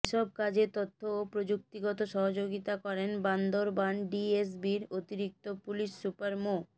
এসব কাজে তথ্য ও প্রযুক্তিগত সহযোগিতা করেন বান্দরবান ডিএসবির অতিরিক্ত পুলিশ সুপার মো